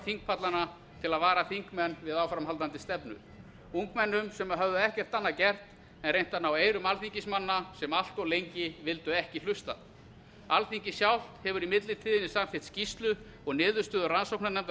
þingpallana til að vara þingmenn við áframhaldandi stefnu ungmennum sem höfðu ekkert annað gert en að reyna að ná eyrum alþingismanna sem allt of lengi vildu ekki hlusta alþingi sjálft hefur í millitíðinni samþykkt skýrslu og niðurstöðu rannsóknarnefndar